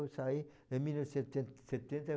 Eu saí em mil novecentos e setenta